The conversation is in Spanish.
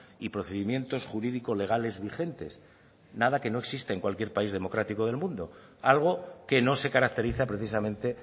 y procedimientos jurídicos legales vigentes nada que no exista en cualquier país democrático del mundo algo que no se caracteriza precisamente